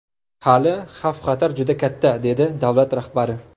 Hali xavf-xatar juda katta”, dedi davlat rahbari.